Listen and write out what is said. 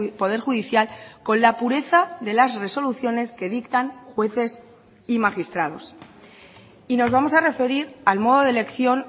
poder judicial con la pureza de las resoluciones que dictan jueces y magistrados y nos vamos a referir al modo de elección